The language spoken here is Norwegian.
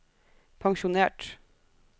pensjonert